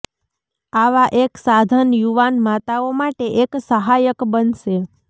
આવા એક સાધન યુવાન માતાઓ માટે એક સહાયક બનશે